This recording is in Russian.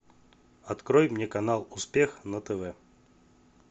открой мне канал успех на тв